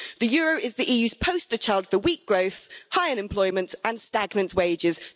The euro is the EU's poster-child for weak growth, high unemployment and stagnant wages.